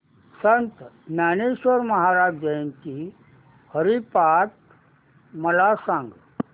संत ज्ञानेश्वर महाराज जयंती हरिपाठ मला सांग